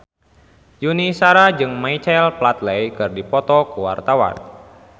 Yuni Shara jeung Michael Flatley keur dipoto ku wartawan